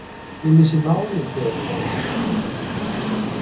Ég missi málið þegar þú horfir svona á mig.